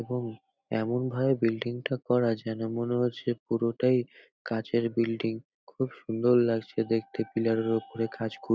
এবং এমনভাবে বিল্ডিং -টা করা যেন মনে হচ্ছে পুরোটাই কাঁচের বিল্ডিং খুব সুন্দর লাগছে দেখতে পিলার -এর ওপরে ঘাসগুলো ।